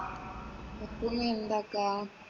ഇപ്പം നീ എന്താക്കാ?